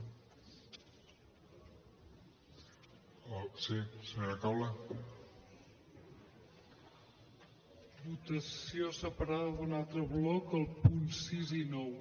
votació separada d’un altre bloc els punts sis i nou